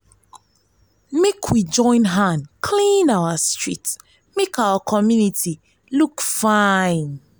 make we join hand clean our street make our community look fine